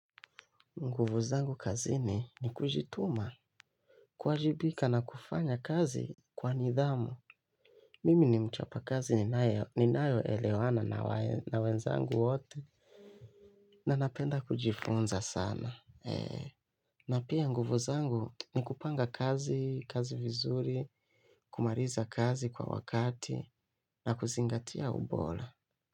Nguvu zangu kazini ni kujituma, kuwajibika na kufanya kazi kwa nidhamu. Mimi ni mchapakazi ninayo elewana na wenzangu wote. Na napenda kujifunza sana. Na pia nguvu zangu ni kupanga kazi, kazi vizuri, kumaliza kazi kwa wakati, na kuzingatia ubora.